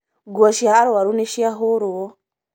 nguo cia arwaru nĩciahũrwo